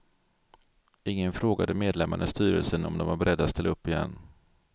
Ingen frågade medlemmarna i styrelsen om de var beredda att ställa upp igen.